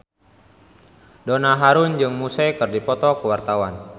Donna Harun jeung Muse keur dipoto ku wartawan